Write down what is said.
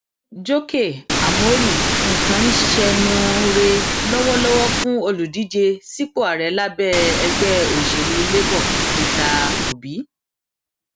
jókè ámórì nǹkan ń ṣẹnuure lọwọlọwọ fún olùdíje sípò ààrẹ lábẹ ẹgbẹ òṣèlú labour peter obi